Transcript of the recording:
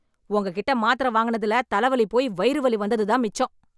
உங்ககிட்ட மாத்திர வாங்கினதுல தலைவலி போயி வயிறு வலி வந்தது தான் மிச்சம்